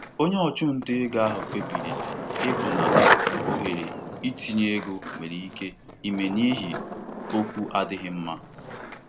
Onye um ntinye ego kpebiri um isi na mkparịta isi na mkparịta ụka ahụ pụọ n'ihi atụmanya ọnụahịa na-ezighị ezi.